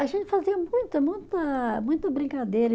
A gente fazia muita, muita, muita brincadeira.